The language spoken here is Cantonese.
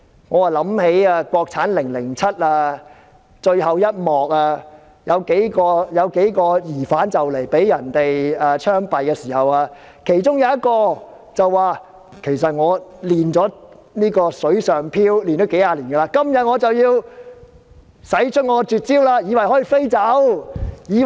我又想起電影"國產凌凌漆"最後一幕，有幾名疑犯即將要槍斃時，其中一名疑犯說：其實我已練成"水上飄"幾十年，今天我便要使出絕招。